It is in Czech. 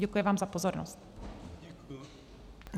Děkuji vám za pozornost.